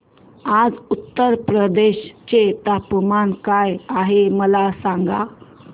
आज उत्तर प्रदेश चे तापमान काय आहे मला सांगा